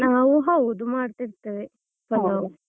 ಹೌದು ಮಾಡ್ತಿರ್ತೇವೆ ಪಲಾವ್.